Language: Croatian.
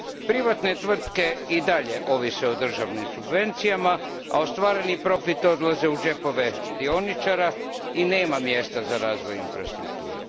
Privatne tvrtke i dalje ovise o državnim subvencijama, a ostvareni profit odlazi u džepove dioničara i nema mjesta za razvoj infrastrukture.